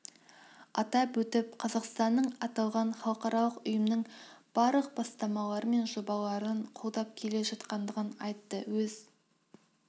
атап өтіп қазақстанның аталған халықаралық ұйымның барлық бастамалары мен жобаларын қолдап келе жатқандығын айтты өз